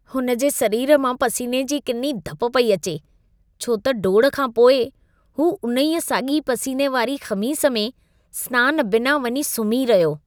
हुन जे सरीर मां पसीने जी किनी घप पई अचे छो त डोड़ खां पोइ, हू उन्हीअ साॻी पसीने वारी ख़मीस में, स्नान बिना वञी सुम्ही रहियो।